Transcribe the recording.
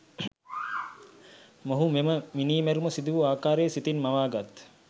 මොහු මෙම මිණිමැරුම සිදුවූ අකාරය සිතින් මවාගත්